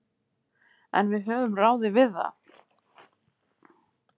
En við höfum ráðið við það.